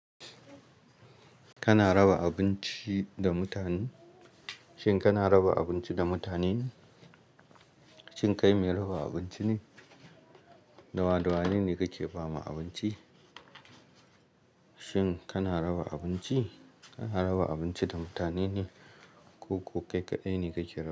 Kana raba abinci da mutane? Shin kana raba abinci da mutane? Shin kai mai raba abinci ne? Dawadawa ne kake ba ma abinci? Shin kana raba abinci? Kana raba abinci da mutane ne ko kokai kaɗai kake raba?